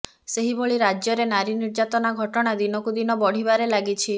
ସେହିଭଳି ରାଜ୍ୟ ରେ ନାରୀ ନିର୍ଯ୍ୟାତନା ଘଟଣା ଦିନକୁ ଦିନ ବଢ଼ିବାରେ ଲାଗିଛି